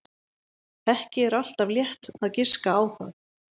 Ekki er alltaf létt að giska á það.